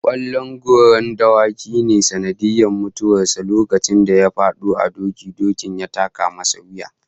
Kwallon goran dawaki ne sanadin mutuwar sa lokacin da ya fado a doki, dokin ya taka masa wuya